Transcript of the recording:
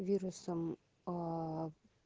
вирусом